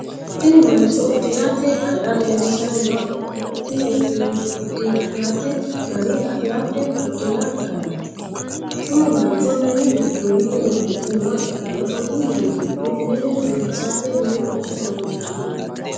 Tinni mancho udirate gara leelishanni nooha ikanna tinni udirate gari afaarete udira garaati. Tinni mancho minu gidoonni uurite nooha ikanna konni minni gido mine biifissate loworicho horoonsi'nonni.